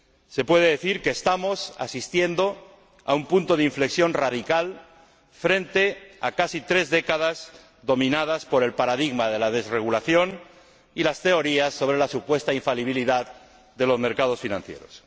Se puede decir que estamos asistiendo a un punto de inflexión radical frente a casi tres décadas dominadas por el paradigma de la desregulación y las teorías sobre la supuesta infalibilidad de los mercados financieros.